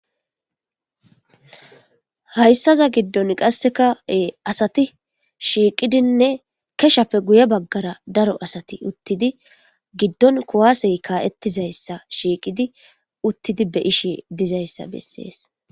Hayisaza giddoni qasekka asati shiqidinne keshappe guye bagara daro asati utidi giddoni kuwaseyi kaetizayisa shikidi utidi betizayisa beesesi